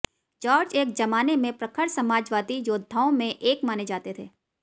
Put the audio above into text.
George एक जमाने में प्रखर समाजवादी योद्धाओं में एक माने जाते थे